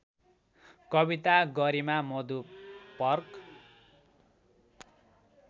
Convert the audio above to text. कविता गरिमा मधुपर्क